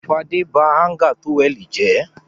Fadé ba háńgà tówẹ́lì jẹ́.